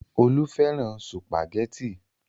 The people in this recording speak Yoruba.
Olú fẹ́ràn sùpàgẹ́tì.